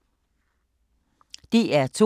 DR2